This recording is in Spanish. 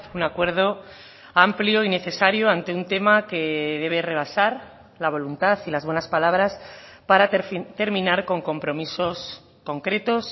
un acuerdo amplio y necesario ante un tema que debe rebasar la voluntad y las buenas palabras para terminar con compromisos concretos